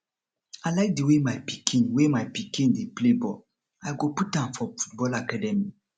i like di way my pikin way my pikin dey play ball i go put am for football academy